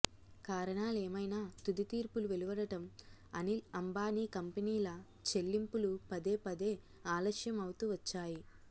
కారణాలేమైనా తుది తీర్పులు వెలువడటం అనిల్ అంబానీ కంపెనీల చెల్లింపులు పదే పదే ఆలస్యం అవుతూ వచ్చాయి